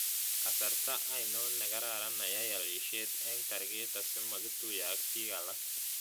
Kasarta ainon negararan ayai alisiet eng' target asimogituye ak biik alak